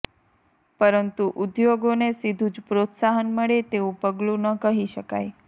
પરંતુ ઉદ્યોગોને સીધું જ પ્રોત્સાહન મળે તેવું પગલું ન કહી શકાય